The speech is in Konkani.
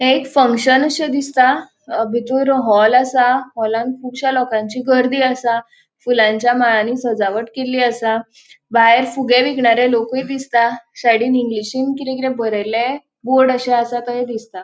हे एक फंगक्शन अशे दिसता बितुर हॉल असा हॉलान कूबश्या लोकांची गर्दी आसा फुलांच्या मळ्यानी सजावट केल्ली असा भायर फुगे विकणारे लोकुय दिसता सायाडीन इंग्लिशिन किरे किरे बरेले बोर्ड अशे असा तेय दिसता.